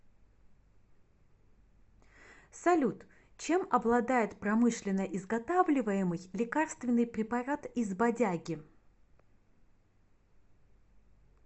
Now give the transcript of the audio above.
салют чем обладает промышленно изготавливаемый лекарственный препарат из бадяги